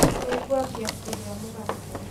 Nĩngwambia kũrĩa mũgate